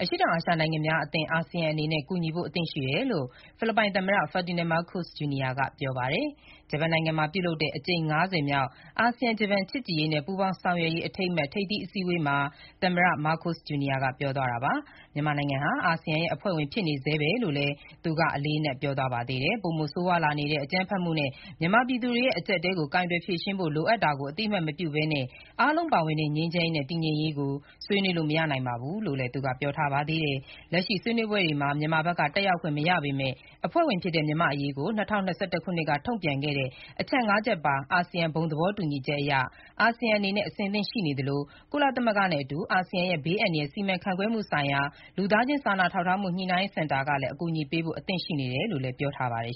အရှေ့တောင်အာရှနိုင်ငံများအသင်း (အာဆီယံ) အနေနဲ့ ကူညီဖို့ အသင့်ရှိသင့်တယ်လို့ ဖိလစ်ပိုင် သမ္မတ Ferdinand Marcos, Jr. က ပြောပါတယ်။ ဂျပန်နိုင်ငံမှာ ပြုလုပ်တဲ့ အကြိမ် ၅၀ မြောက် အာဆီယံ-ဂျပန် ချစ်ကြည်ရေးနဲ့ ပူးပေါင်းဆောင်ရွက်ရေး အထိမ်းအမှတ် ထိပ်သီးအစည်းအဝေးမှာ သမ္မတ Marcos, Jr. က ပြောသွားတာပါ။ မြန်မာနိုင်ငံဟာ အာဆီယံရဲ့ အဖွဲ့ဝင်ဖြစ်နေဆဲပဲလို့လည်း သူက အလေးအနက် ပြောသွားပါသေးတယ်။ ပိုမိုဆိုးရွားလာနေတဲ့ အကြမ်းဖက်မှုနဲ့ မြန်မာပြည်သူတွေရဲ့ အကျပ်အတည်းကို ကိုင်တွယ်ဖြေရှင်းဖို့ လိုအပ်တာကို အသိအမှတ်မပြုဘဲနဲ့ အားလုံးပါဝင်တဲ့ ငြိမ်းချမ်းရေးနဲ့ တည်ငြိမ်ရေးကို ဆွေးနွေးလို့ မရပါဘူးလို့လည်း သူက ပြောထားပါသေးတယ်။ လက်ရှိဆွေးနွေးပွဲတွေမှာ မြန်မာဘက်က တက်ရောက်ခွင့် မရပေမဲ့၊ အဖွဲ့ဝင်ဖြစ်တဲ့ မြန်မာ့အရေးကို ၂၀၂၁ ခုနှစ်က ထုတ်ပြန်ခဲ့တဲ့ အချက် ၅ ချက်ပါတဲ့ အာဆီယံ ဘုံသဘောတူညီချက်အရ အာဆီယံအနေနဲ့ အဆင်သင့်ရှိနေသလို၊ ကုလသမဂ္ဂနဲ့အတူ အာဆီယံရဲ့ ဘေးအန္တရာယ်စီမံခန့်ခွဲမှုဆိုင်ရာ လူသားချင်း စာနာထောက်ထားမှု ညှိနှိုင်းရေးစင်တာကလည်း အကူအညီပေးဖို့ အဆင်သင့်ရှိတယ်လို့ လည်း ပြောပါတယ်